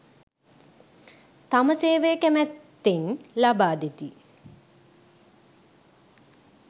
තම සේවය කැමැත්තෙන් ලබාදෙති